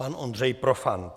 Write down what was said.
Pan Ondřej Profant.